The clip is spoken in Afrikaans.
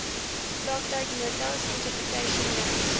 praktyknotas interpretation notes